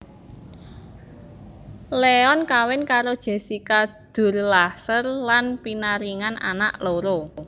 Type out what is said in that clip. Leon kawin karo Jessica Durlacher lan pinaringan anak loro